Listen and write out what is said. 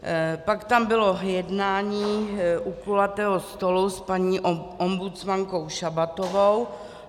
Pak tam bylo jednání u kulatého stolu s paní ombudsmankou Šabatovou.